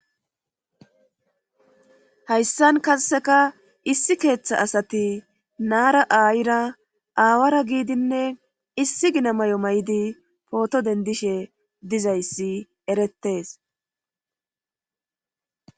hayssan kasseka issi keeththa asati naara aayira aawara giidinne issi gina may7o may7idi pooto dendishe dizayssi erettes